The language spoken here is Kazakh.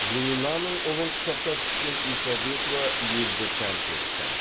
луинаның ұлын құшақтап түскен исабекова елді тәнті етті